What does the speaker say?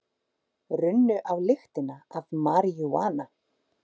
Runnu á lyktina af maríjúana